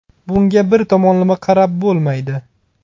Bunga bir tomonlama qarab bo‘lmaydi.